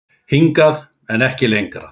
Hingað, en ekki lengra.